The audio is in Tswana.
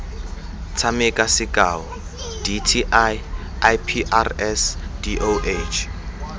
tshameka sekao dti iprs doh